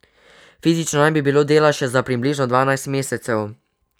Fizično naj bi bilo dela še za približno dvajset mesecev.